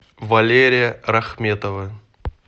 валерия рахметова